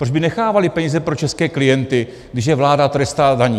Proč by nechávaly peníze pro české klienty, když je vláda trestá daní?